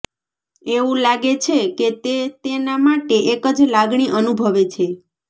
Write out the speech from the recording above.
એવું લાગે છે કે તે તેના માટે એક જ લાગણી અનુભવે છે